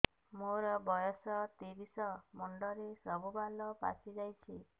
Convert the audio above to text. ମୋର ବୟସ ତିରିଶ ମୁଣ୍ଡରେ ସବୁ ବାଳ ପାଚିଯାଇଛି